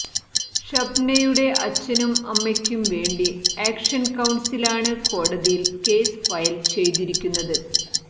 ഷബ്നയുടെ അച്ഛനും അമ്മയ്ക്കും വേണ്ടി ആക്ഷൻ കൌൺസിലാണ് കോടതിയിൽ കേസ് ഫയൽ ചെയ്തിരിക്കുന്നത്